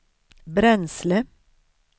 bränsle